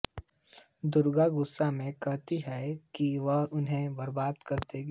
दुर्गा गुस्से में कहती है कि वह उन्हें बर्बाद कर देगी